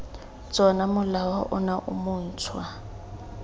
tsona molao ono o montšhwa